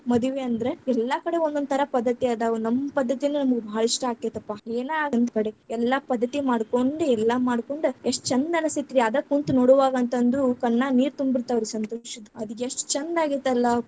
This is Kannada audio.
ಮದ್ವಿ ಅಂದ್ರ, ಎಲ್ಲಾಕಡೆ ಒಂದೊಂದ್ ಥರಾ ಪದ್ಧತಿ ಅದಾವ, ನಮ್ ಪದ್ಧತಿನ ನಮಗ್ ಭಾಳ ಇಷ್ಟಾ ಆಗ್ತೇತಪ್ಪಾ ಏನ್‌ ಆಗ್ಲಿ ನಮ್ಮಕಡೆ ಎಲ್ಲಾ ಪದ್ಧತಿ ಮಾಡ್ಕೊಂಡ್, ಎಲ್ಲಾ ಮಾಡ್ಕೊಂಡ್, ಎಷ್ಟ ಛಂದ್‌ ಅನಸ್ತೇತ್ರಿ ಅದ್‌ ಕುಂತ್ ನೋಡುವಾಗಂತಂದು ಕಣ್ಣಾಗ್‌ ನೀರ್‌ ತುಂಬಿರ್ತಾವ್ರೀ ಸಂತೋಷದ್‌, ಅದ ಎಸ್ಟ್ ಛಂದ ಆಗೇತಲ್ಲಾ.